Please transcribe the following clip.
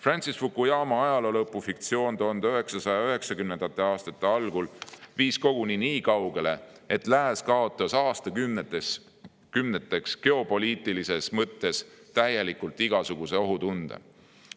Francis Fukuyama ajaloo lõpu fiktsioon 1990. aastate algul viis koguni nii kaugele, et lääs kaotas aastakümneteks täielikult geopoliitilises mõttes igasuguse ohutunde.